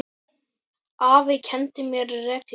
Afi kenndi mér reglu.